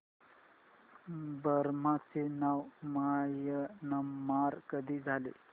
Burma चे नाव Myanmar कधी झाले